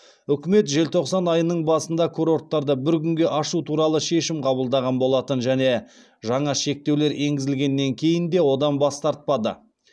үкімет желтоқсан айының басында курорттарды бір күнге ашу туралы шешім қабылдаған болатын және жаңа шектеулер енгізілгеннен кейін де одан бас тартпады